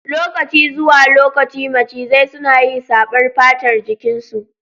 Lokaci zuwa lokaci macizai suna yi saɓar fatar jikin su